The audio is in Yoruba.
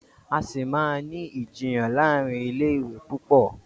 A sí má ní Ìjiyàn láàrin ilé ìwé púpọ.